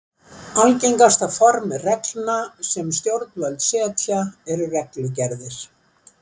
Algengasta form reglna sem stjórnvöld setja eru reglugerðir.